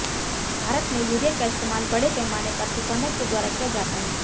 भारत में यूरिया का इस्तेमाल बड़े पैमाने पर किसानों के द्वारा किया जाता है